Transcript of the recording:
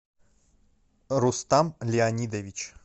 рустам леонидович